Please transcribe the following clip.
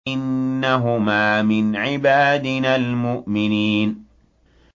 إِنَّهُمَا مِنْ عِبَادِنَا الْمُؤْمِنِينَ